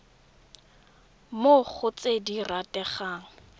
mo go tse di rategang